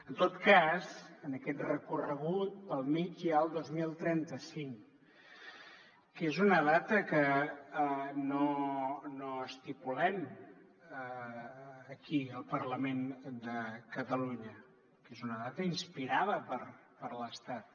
en tot cas en aquest recorregut pel mig hi ha el dos mil trenta cinc que és una data que no estipulem aquí al parlament de catalunya que és una data inspirada per l’estat